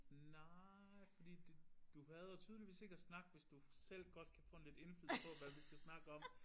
Nej fordi det du hader tydeligvis ikke at snakke hvis du selv godt kan få en lidt indflydelse på hvad vi skal snakke om